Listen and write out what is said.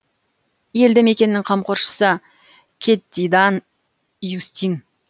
елді мекеннің қамқоршысы кьетидан иустин